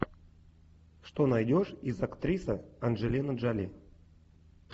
что найдешь из актриса анджелина джоли